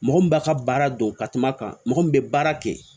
Mɔgɔ min b'a ka baara dɔn ka kuma kan mɔgɔ min bɛ baara kɛ